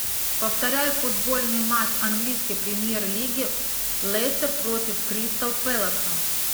повторяй футбольный матч английской премьер лиги лестер против кристал пэласа